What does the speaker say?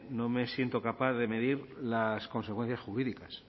no me siento capaz de medir las consecuencias jurídicas